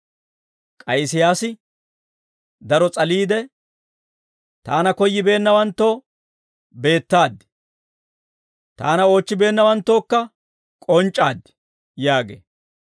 K'ay Isiyaasi daro s'aliide, «Taana koyyibeennawanttoo beettaad; taana oochchibeennawanttookka k'onc'c'aad» yaagee.